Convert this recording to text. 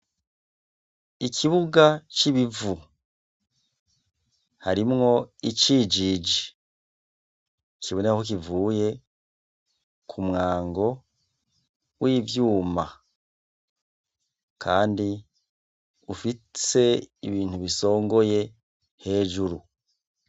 Ikibuga c'ibivu harimwo icijije kibonekako kivuye ku mwango w'ivyuma, kandi ufise ibintu bisongoye hejuru.